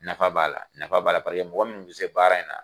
Nafa b'a la, nafa b'a la, paseke ni mɔgɔ min bɛ se baara in na.